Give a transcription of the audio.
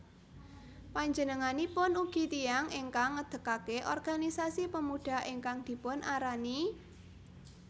Panjenenganipun ugi tiyang ingkang ngedekke organisasi Pemuda ingkang dipunarani